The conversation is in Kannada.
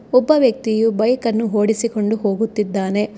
ಒಬ್ಬ ವ್ಯಕ್ತಿಯು ಬೈಕನ್ನು ಓಡಿಸಿಕೊಂಡು ಹೋಗುತ್ತಿದ್ದಾನೆ.